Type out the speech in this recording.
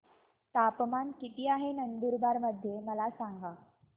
तापमान किता आहे नंदुरबार मध्ये मला सांगा